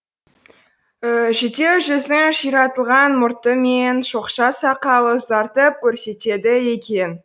жүдеу жүзін ширатылған мұрты мен шоқша сақалы ұзартып көрсетеді екен